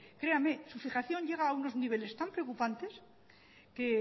créame su fijación llega a unos niveles tan preocupantes que